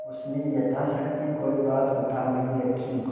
उसने यथाशक्ति कोई बात उठा नहीं रखी